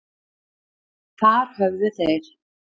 Þar höfðu þeir